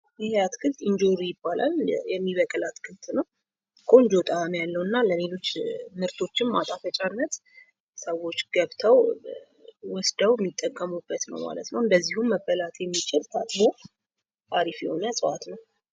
ይህ አትክልት እንጆሪ ይባላል። የሚበቅል አትክልት ነው። ቆንጆ ጣዕም ያለውና ለሌሎች ምርቶችም ማጣፈጫነት ሰዎች ገብተው ወስደው የሚጠቀሙበትነው ማለት ነው። እንደዚሁም መበላት የሚችል ታጥቦ አሪፍ የሆነ እጽዋት ነው።